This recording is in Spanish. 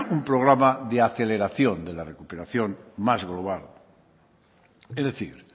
un programa de aceleración de la recuperación más global es decir